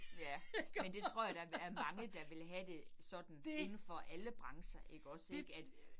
Ja, men det tror jeg der er mange, der vil have det sådan indefor alle brancher ikke også ik at